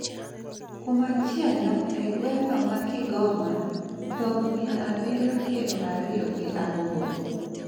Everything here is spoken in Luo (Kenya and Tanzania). kumachielo,e gewng'no ma Kigoma, dhok mia abiriyo piero ariyo gi aboro